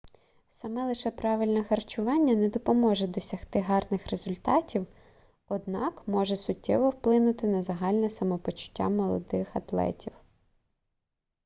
саме лише правильне харчування не допоможе досягти гарних результатів однак може суттєво вплинути на загальне самопочуття молодих атлетів